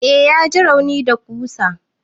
Eh ya ji rauni da ƙusa.